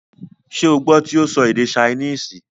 ṣé o gbọ́ tí ó sọ èdè saínìsì,?